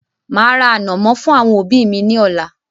Màá ra ànọ̀mọ́ fún àwọn òbí mi ní ọ̀la.